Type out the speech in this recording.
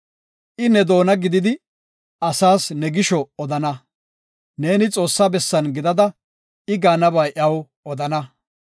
I ne doona gididi asas ne gisho odana. Neeni Xoossa bessan gidada I gaanaba iyaw odana.